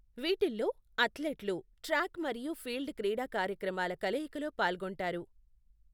వీటిల్లో, అథ్లెట్లు ట్రాక్ మరియు ఫీల్డ్ క్రిడా కార్యక్రమాల కలయికలో పాల్గొంటారు.